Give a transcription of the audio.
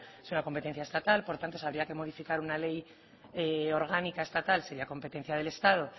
es una competencia estatal por lo tanto si habría que modificar una ley orgánica estatal sería competencia del estado